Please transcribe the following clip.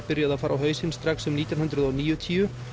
byrjuðu að fara á hausinn strax um nítján hundruð og níutíu